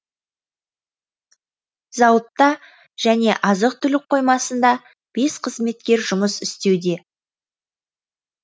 зауытта және азық түлік қоймасында бес қызметкер жұмыс істеуде